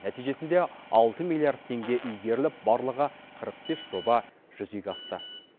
нәтижесінде алты миллиард теңге игеріліп барлығы қырық бес жоба жүзеге асты